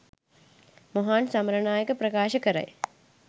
මොහාන් සමරනායක ප්‍රකාශ කරයි